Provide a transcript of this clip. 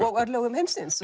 og örlögum heimsins